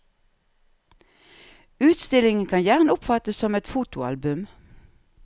Utstillingen kan gjerne oppfattes som et fotoalbum.